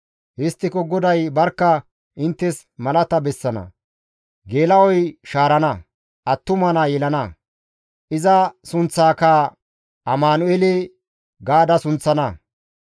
Histtiko GODAY barkka inttes malata bessana; geela7oy shaarana; attuma naa yelana; iza sunththaaka, ‹Amanu7eele› gaada sunththana.